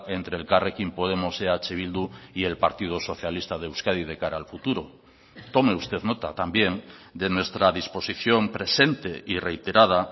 entre elkarrekin podemos eh bildu y el partido socialista de euskadi de cara al futuro tome usted nota también de nuestra disposición presente y reiterada